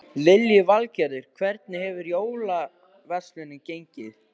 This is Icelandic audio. Lillý Valgerður: Hvernig hefur jólaverslunin gengið?